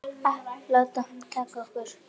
Að líða vel.